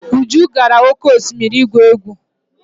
Uju gara oke osimiri igwu egwu.